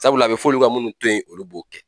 Sabula a bɛ fɔ olu ka munnu to ye olu b'o kɛ.